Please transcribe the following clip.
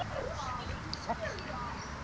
Hún varð aðeins fimmtán ára.